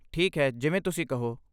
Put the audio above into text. ਠੀਕ ਹੈ, ਜਿਵੇਂ ਤੁਸੀਂ ਕਹੋ।